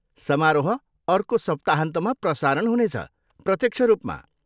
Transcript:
समारोह अर्को सप्ताहन्तमा प्रसारण हुने छ, प्रत्यक्ष रूपमा।